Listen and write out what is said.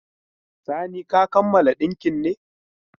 Sani ka kammala dinkin ne?